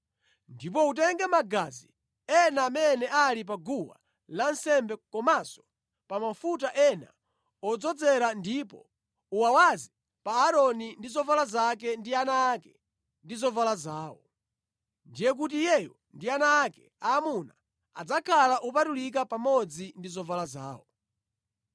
Ndipo utenge magazi ena amene ali pa guwa lansembe komanso pa mafuta ena odzozera ndipo uwawaze pa Aaroni ndi zovala zake ndi ana ake ndi zovala zawo. Ndiye kuti iyeyo ndi ana ake aamuna adzakhala opatulika pamodzi ndi zovala zawo.